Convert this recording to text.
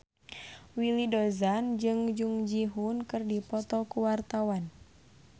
Willy Dozan jeung Jung Ji Hoon keur dipoto ku wartawan